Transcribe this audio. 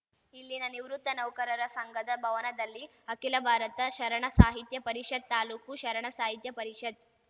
ಇಲ್ಲಿನ ನಿವೃತ್ತ ನೌಕರರ ಸಂಘದ ಭವನದಲ್ಲಿ ಅಖಿಲ ಭಾರತ ಶರಣ ಸಾಹಿತ್ಯ ಪರಿಷತ್‌ ತಾಲೂಕು ಶರಣ ಸಾಹಿತ್ಯ ಪರಿಷತ್‌